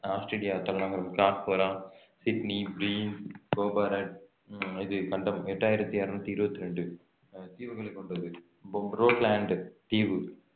Australia தலைநகரம் Sydney உம் இது கண்டம் எட்டாயிரத்தி இருநூத்தி இருபத்தி ரெண்டு ஆஹ் தீவுகளை கொண்டது தீவு